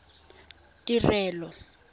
tirelo